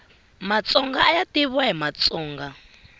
matsonga ayavitiwa matsonga